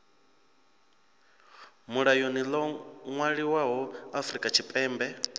mulayoni ḽo ṅwaliswaho afrika tshipembe